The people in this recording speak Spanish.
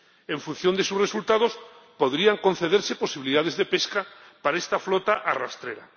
En función de sus resultados, podrían concederse posibilidades de pesca para esta flota arrastrera.